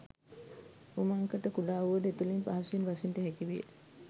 උමංකට කුඩා වුවද එතුළින් පහසුවෙන් බසින්නට හැකිවිය